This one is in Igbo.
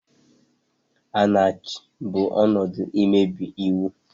Anaaky bụ ọnọdụ mmebi iwu.